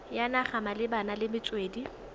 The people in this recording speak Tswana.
ya naga malebana le metswedi